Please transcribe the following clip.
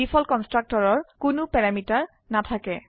default কনস্ট্ৰাক্টৰৰ কোনো parameter নাথাকে